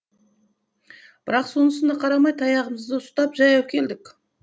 бірақ сонысына қарамай таяғымызды ұстап жаяу келдік